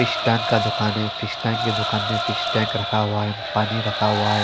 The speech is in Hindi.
फिश टाँक का दुकान है फिश टैंक की दुकान पर फिश टैंक रखा हुआ है पानी रखा हुआ है।